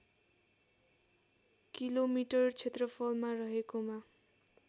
kilometre क्षेत्रफलमा रहेकोमा